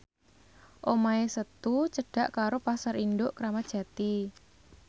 omahe Setu cedhak karo Pasar Induk Kramat Jati